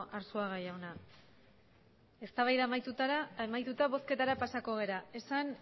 arzuaga jauna eztabaida amaituta bozketara pasako gara esan